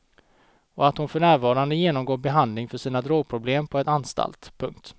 Och att hon för närvarande genomgår behandling för sina drogproblem på en anstalt. punkt